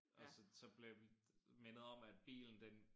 Og så så blev vi mindet om at bilen den